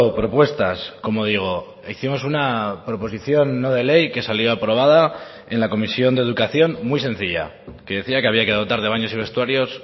propuestas como digo hicimos una proposición no de ley que salió aprobada en la comisión de educación muy sencilla que decía que había que dotar de baños y vestuarios